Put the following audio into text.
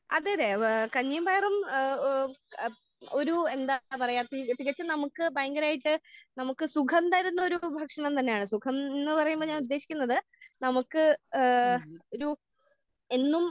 അതെ അതെ അതെ ഏഹ് കഞ്ഞീം പയറും ഏഹ് ഏഹ് ഒരു എന്താ പറയാ തികച്ചും നമുക്ക് ഭയങ്കരായിട്ട് നമുക്ക് സുഖം തരുന്ന ഒരു സുഖ ഭക്ഷണം തന്നെയാണ് സുഖം ന്ന് പറയുമ്പോ ഞാൻ ഉദ്ദേശിക്കുന്നത് നമുക്ക് ഏഹ് ഒരു എന്നും